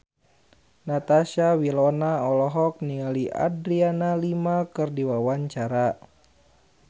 Natasha Wilona olohok ningali Adriana Lima keur diwawancara